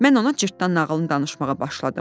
Mən ona cırtdan nağılını danışmağa başladım.